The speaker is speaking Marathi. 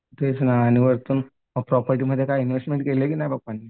तेच ना आणि वरतून प्रॉपर्टीमध्ये काय इन्व्हेस्टमेंट केली आहे का नाही पप्पांनी?